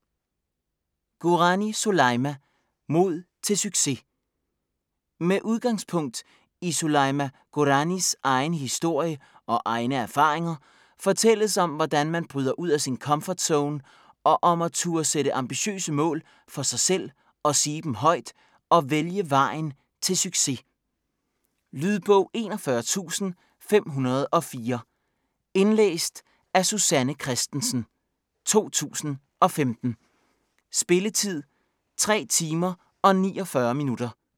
Gourani, Soulaima: Mod til succes Med udgangspunkt i Soulaima Gouranis egen historie og egne erfaringer fortælles om hvordan man bryder ud af sin komfortzone og om at turde sætte ambitiøse mål for sig selv og sige dem højt og vælge vejen til succes. Lydbog 41504 Indlæst af Susanne Kristensen, 2015. Spilletid: 3 timer, 49 minutter.